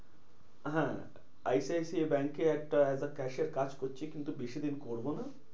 হ্যাঁ I C I C I ব্যাঙ্কে একটা as a cashier কাজ করছি। কিন্তু বেশি দিন করবো না।